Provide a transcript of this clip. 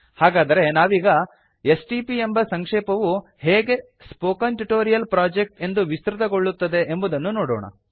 ಹಾಗಾದರೆ ನಾವೀಗ ಎಸ್ಟಿಪಿ ಎಂಬ ಸಂಕ್ಷೇಪವು ಹೇಗೆ ಸ್ಪೋಕನ್ ಟ್ಯೂಟೋರಿಯಲ್ ಪ್ರೊಜೆಕ್ಟ್ ಎಂದು ವಿಸ್ತೃತಗೊಳ್ಳುತ್ತದೆ ಎಂಬುದನ್ನು ನೋಡೋಣ